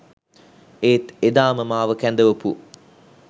ඒත් එදාම මාව කැඳවපු